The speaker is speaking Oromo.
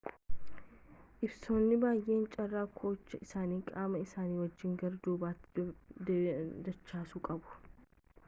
ilbiisonni baay'een carraa koochoo isaanii qaama isaanii wajjiin gara duubaatti dachaasuu qabu